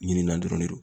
Ɲinan dɔrɔn de don